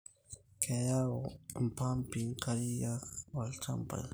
Keyau impampi nkariak ilchambai